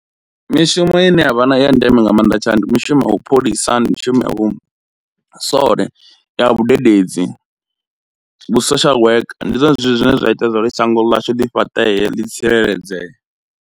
Mishumo ine ya vha na i ya ndeme nga maanḓa tsha ndi mishumo wa vhu pholisa, ndi mishumo vhu sole, ya vhudededzi, vhu social worker, ndi zwone zwithu zwine zwa ita zwori shango ḽashu ḓi fhaṱee ḽi tsireledzee.